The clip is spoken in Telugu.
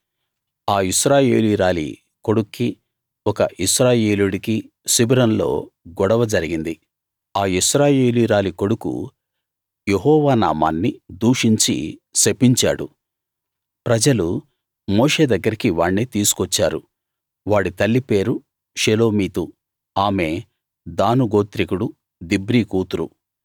ఆ ఇశ్రాయేలీయురాలి కొడుక్కి ఒక ఇశ్రాయేలీయుడికి శిబిరంలో గొడవ జరిగింది ఆ ఇశ్రాయేలీయురాలి కొడుకు యెహోవా నామాన్ని దూషించి శపించాడు ప్రజలు మోషే దగ్గరికి వాణ్ణి తీసుకొచ్చారు వాడి తల్లి పేరు షెలోమీతు ఆమె దాను గోత్రికుడు దిబ్రీ కూతురు